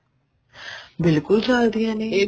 ਬਿਲਕੁਲ ਚਲਦੀਆਂ ਨੇ ਇਹ